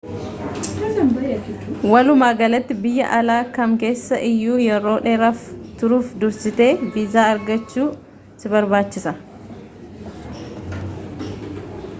walumaagalatti biyya alaa kam keessa iyyuu yeroo dheeraaf turuuf dursitee viizaa argachuu si barbaachisa